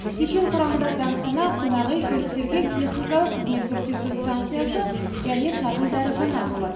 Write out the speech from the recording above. кешен құрамында дәмхана қонақүй көліктерге техникалық қызмет көрсету станциясы және шағын дәріхана болады